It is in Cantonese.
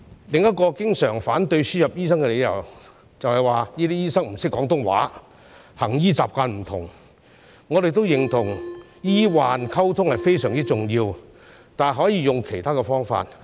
另一個經常反對輸入醫生的理由，就是指這些醫生不懂廣東話、行醫習慣不同，我們認同醫患溝通非常重要，但可以用其他方法處理。